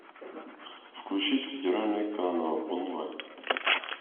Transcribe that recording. включить федеральный канал онлайн